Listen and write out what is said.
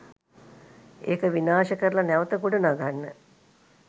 ඒක විනාශ කරල නැවත ගොඩ නගන්න